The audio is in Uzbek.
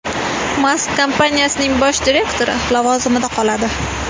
Mask kompaniyaning bosh direktori lavozimida qoladi.